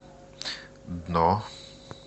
дно